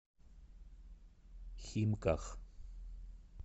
химках